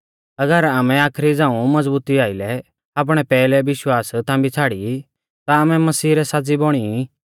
अगर आमै आखरी झ़ाऊं मज़बुती आइलै आपणै पैहलै विश्वास थांबी छ़ाड़ी ई ता आमै मसीह रै साज़ी बौणी ई